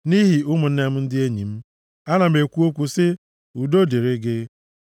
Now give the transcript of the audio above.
Nʼihi ụmụnne m na ndị enyi m, ana m ekwu okwu sị, “Udo dịrị gị.”